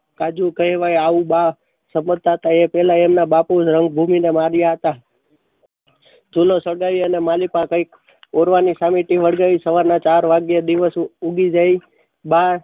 સુનો સગાઈ અને માં પણ કઈક ઓરવાની સમિતિ વડગાઈ. સવારના ચાર વાગ્યે દિવશ ઉગી જાય. બા સોદામાં વર્ષે એમના નોતી બા